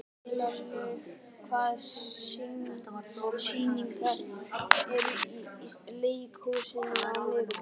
Vélaug, hvaða sýningar eru í leikhúsinu á miðvikudaginn?